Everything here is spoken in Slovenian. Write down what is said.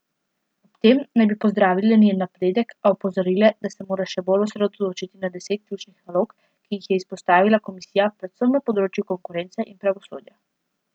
Ob tem naj bi pozdravile njen napredek, a opozorile, da se mora še bolj osredotočiti na deset ključnih nalog, ki jih je izpostavila komisija, predvsem na področju konkurence in pravosodja.